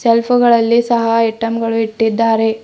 ಸೆಲ್ಫುಗಳಲ್ಲಿ ಸಹ ಐಟಂ ಗಳು ಇಟ್ಟಿದ್ದಾರೆ.